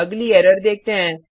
अगली एरर देखते हैं